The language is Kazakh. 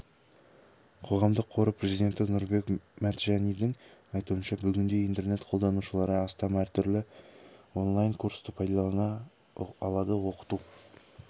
қоғамдық қоры президенті нұрбек мәтжанидің айтуынша бүгінде интернет қолданушылары астам түрлі онлайн курсты пайдалана алады оқыту